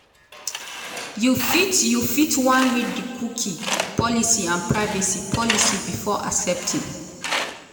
you fit you fit wan read di xcookie policyandprivacy policybefore accepting.